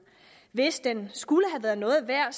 hvis den skulle have været noget værd